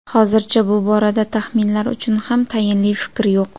Hozircha bu borada taxminlar uchun ham tayinli fikr yo‘q.